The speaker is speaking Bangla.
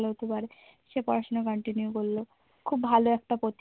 ভালো হতে পাড়ে, সে পড়াশোনা continue করলেও খুব ভালো একটা